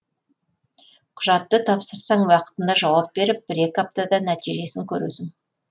құжатты тапсырсаң уақытында жауап беріп бір екі аптада нәтижесін көресің